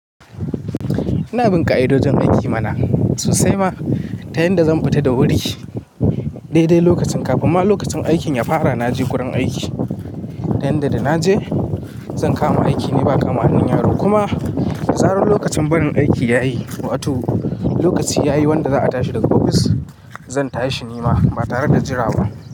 Ina bin ka'idojin aiki mana sosai ma, ta yanda zan futa da wuri? Dai dai lokacin kafin ma lokacin aikin ya fara naje gurin aiki. Ta yanda da naje zan kama aiki ne ba kama hannun yaro. Kuma da zaran lokacin barin aiki yayi, watu lokaci yayi wanda za'a tashi daga ofis zan tashi nima ba tare da jira ba.